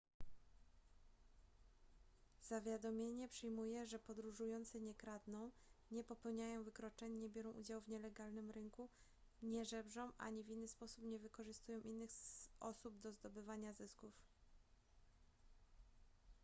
zawiadomienie przyjmuje że podróżujący nie kradną nie popełniają wykroczeń nie biorą udziału w nielegalnym rynku nie żebrzą ani w inny sposób nie wykorzystują innych osób do zdobywania zysków